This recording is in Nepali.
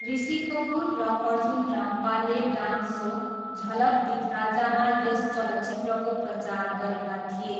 ऋषि कपुर र अर्जुन रामपालले डान्स सो झलक दिखलाजामा यस चलचित्रको प्रचार गरेका थिए।